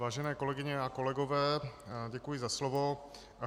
Vážené kolegyně a kolegové, děkuji za slovo.